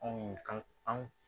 Anw ye kan